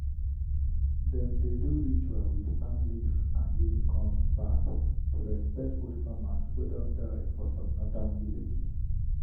dem dey do ritual with palm leaf and guinea corn pap to respect old farmers way don die for some northern villages.